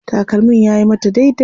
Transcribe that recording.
Takalmin yayi mata daidai.